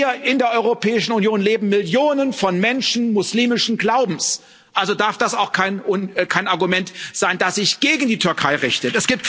Hier in der Europäischen Union leben Millionen von Menschen muslimischen Glaubens, also darf das auch kein Argument sein, das sich gegen die Türkei richtet.